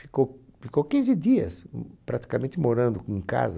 Ficou ficou quinze dias praticamente morando em casa.